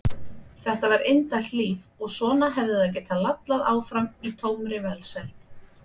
Þetta var indælt líf og svona hefði það getað lallað áfram í tómri velsæld.